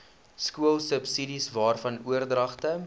skoolsubsidies waarvan oordragte